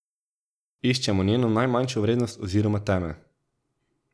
Iščemo njeno najmanjšo vrednost oziroma teme.